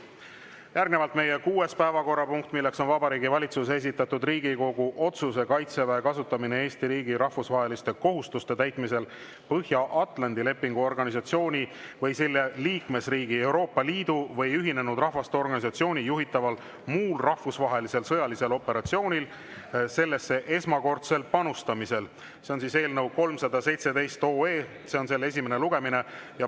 Järgnevalt meie kuues päevakorrapunkt: Vabariigi Valitsuse esitatud Riigikogu otsuse "Kaitseväe kasutamine Eesti riigi rahvusvaheliste kohustuste täitmisel Põhja-Atlandi Lepingu Organisatsiooni või selle liikmesriigi, Euroopa Liidu või Ühinenud Rahvaste Organisatsiooni juhitaval muul rahvusvahelisel sõjalisel operatsioonil sellesse esmakordsel panustamisel" eelnõu 317 esimene lugemine.